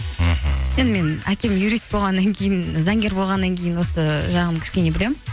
мхм енді менің әкем юрист болғаннан кейін заңгер болғаннан кейін осы жағын кішкене білемін